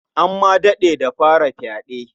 An ma daɗe da fara fyaɗe.